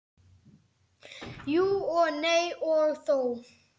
Jú og nei og þó.